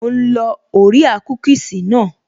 Mò ń lọ orea kúkìsì naa